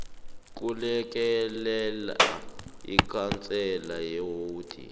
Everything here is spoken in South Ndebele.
kulekelela ikhansela lewodi